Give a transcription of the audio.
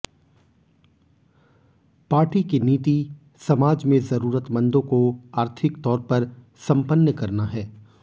party की नीति समाज में जरूरतमंदों को आर्थिक तौर पर संपन्न करना है